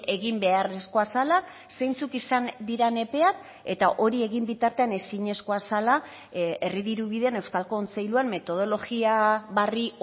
egin beharrezkoa zela zeintzuk izan diren epeak eta hori egin bitartean ezinezkoa zela herri dirubideen euskal kontseiluan metodologia berri